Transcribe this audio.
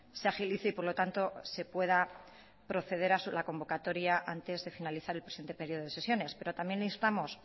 se agilice y por lo tanto se pueda proceder a la convocatoria antes de finalizar el presente período de sesiones pero también instamos